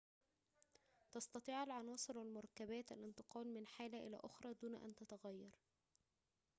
تستطيع العناصر والمركبات الانتقال من حالة إلى أخرى دون أن تتغير